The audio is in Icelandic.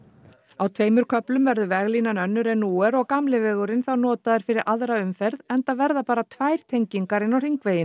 á tveimur köflum verður veglínan önnur en nú er og gamli vegurinn þá notaður fyrir aðra umferð enda verða bara tvær tengingar inn á hringveginn